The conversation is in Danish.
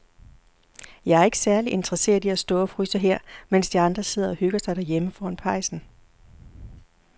Jeg er ikke særlig interesseret i at stå og fryse her, mens de andre sidder og hygger sig derhjemme foran pejsen.